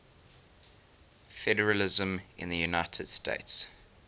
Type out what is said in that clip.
federalism in the united states